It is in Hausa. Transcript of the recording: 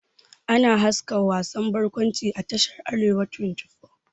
Ana haska wasan bakwanci a tashar "arewa 24 ''